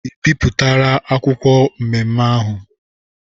I bipụtara akwụkwọ nmenme ahụ!